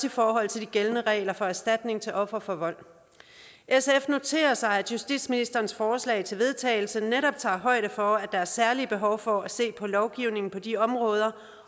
i forhold til de gældende regler for erstatning til ofre for vold sf noterer sig at justitsministerens forslag til vedtagelse netop tager højde for at der er særlige behov for at se på lovgivningen på de områder